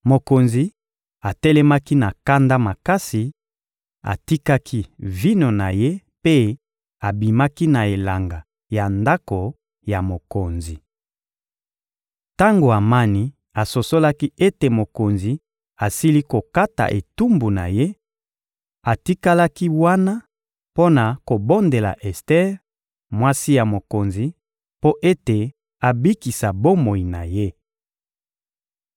Mokonzi atelemaki na kanda makasi, atikaki vino na ye mpe abimaki na elanga ya ndako ya mokonzi. Tango Amani asosolaki ete mokonzi asili kokata etumbu na ye, atikalaki wana mpo na kobondela Ester, mwasi ya mokonzi, mpo ete abikisa bomoi na ye.